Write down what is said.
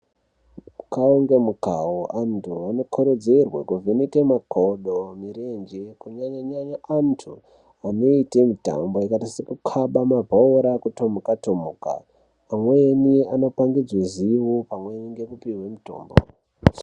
Mukau ngemukau antu anokurudzirwa kuvheneke makodo, mirenje kunyanya-nyanya antu anoite mitambo yakaita sekukaba mabhora, kutomuka-tomuka,. Pamweni anopangidzwe zivo pamweni ngekupihwe mutombo.